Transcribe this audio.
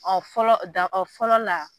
Ɔ fɔlɔ o fɔlɔ la